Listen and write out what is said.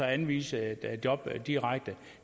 anvise et job direkte